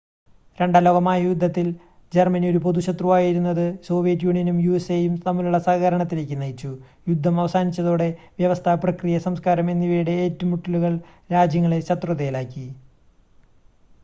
രണ്ടാം ലോക മഹായുദ്ധത്തിൽ ജർമ്മനി ഒരു പൊതു ശത്രുവായിരുന്നത് സോവിയറ്റ് യൂണിയനും യുഎസ്എയും തമ്മിലുള്ള സഹകരണത്തിലേക്ക് നയിച്ചു യുദ്ധം അവസാനിച്ചതോടെ വ്യവസ്ഥ പ്രക്രിയ സംസ്കാരം എന്നിവയുടെ ഏറ്റുമുട്ടലുകൾ രാജ്യങ്ങളെ ശത്രുതയിലാക്കി